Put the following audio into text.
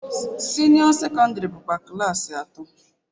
Senio secondary bụkwa klaasị atọ.